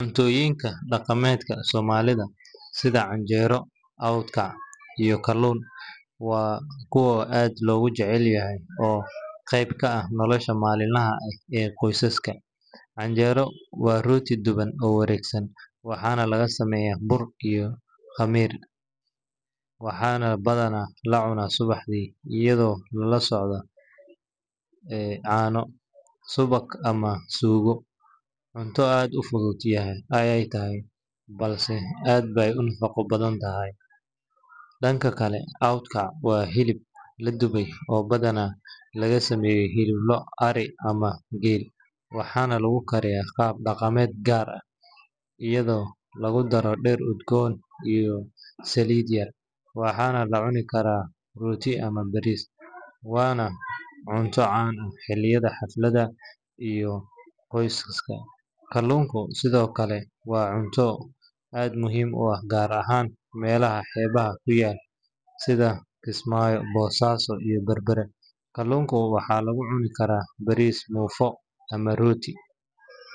Cuntooyinka dhaqameedka Soomaalida sida canjeero, awt kac, iyo kaluun waa kuwa aad loogu jecel yahay oo qayb ka ah nolosha maalinlaha ah ee qoysaska. Canjeero waa rooti dhuuban oo wareegsan, waxaana laga sameeyaa bur, biyo iyo khamiir, waxaana badanaa la cunaa subaxdii iyadoo lala socda caano, subag, ama suugo. Cunto aad u fudud ayay tahay, balse aad bay u nafaqo badan tahay. Dhanka kale, awt kac waa hilib la dubay oo badanaa laga sameeyo hilib lo’, ari ama geel, waxaana lagu kariyaa qaab dhaqameed gaar ah, iyadoo lagu daro dhir udgoon iyo saliid yar. Waxaa lagu cuni karaa rooti ama bariis, waana cunto caan ah xilliyada xafladaha iyo kulamada qoyska. Kaluun sidoo kale waa cunto aad muhiim u ah, gaar ahaan meelaha xeebaha ku yaal sida Kismaayo, Boosaaso, iyo Berbera. Kaluunka waxaa lagu cunaa bariis, muufo ama rooti.